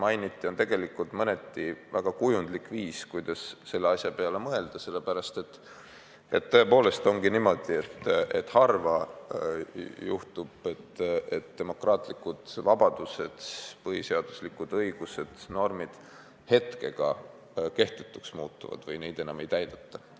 See on tegelikult mõneti väga kujundlik viis, kuidas selle asja peale mõelda, sellepärast et tõepoolest ongi niimoodi, et harva juhtub, et demokraatlikud vabadused, põhiseaduslikud õigused ja normid hetkega kehtetuks muutuvad või neid enam ei täideta.